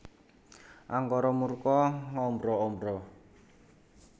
Angkara murka ngombro ombro